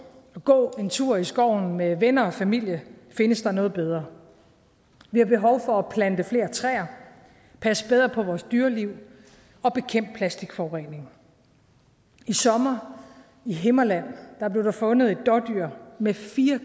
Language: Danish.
at gå en tur i skoven med venner og familie findes der noget bedre vi har behov for at plante flere træer passe bedre på vores dyreliv og bekæmpe plastikforurening i sommer i himmerland blev der fundet et dådyr med fire